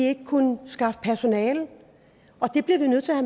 ikke kunne skaffe personale og det bliver vi nødt til at